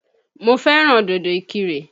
Mo fẹ́ràn dòdò Ìkìrè.